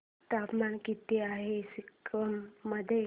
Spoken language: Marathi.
तापमान किती आहे सिक्किम मध्ये